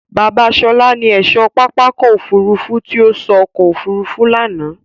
Bábà Ṣọlá ni ẹ̀ṣọ́ pápákọ̀ òfurufú tí ó sọ ọkọ̀ òfurufú lánàá.